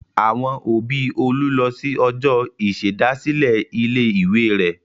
Àwọn òbí Olú lọ sí ọjọ́ ìṣèdásílẹ̀ ilé-ìwé rẹ̀.